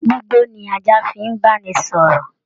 Gbigbo ni ajá fi n banisọ̀rọ̀.